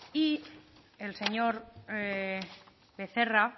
y el señor becerra